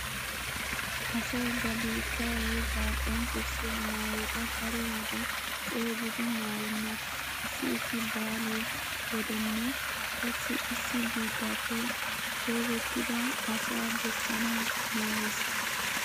Asay ba biittaa wogaa qonccissiya maayota daro wode coogidi maayenna. Issi issi baale wodenne qassi issi biittappe shoobettida asa bessanawu maayees.